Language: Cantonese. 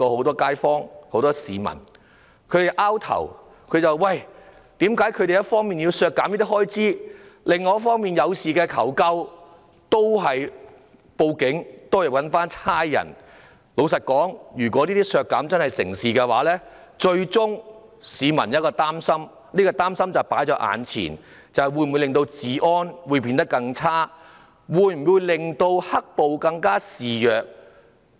老實說，如果這些修正案獲得通過，真箇削減有關的預算開支，市民只有擔心，治安會否變得更差？"黑暴"會否更加肆虐？